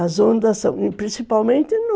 As ondas são... Principalmente no